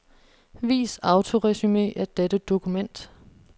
Vis autoresumé af dette dokument.